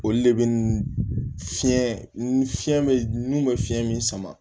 Olu de bɛ n'i fiɲɛ ni fiɲɛ bɛ nun bɛ fiɲɛ min sama